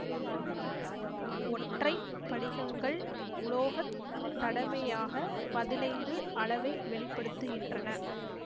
ஒற்றை படிகங்கள் உலோக தடைமையாக பதினைந்து அளவை வெளி படுத்துகின்றன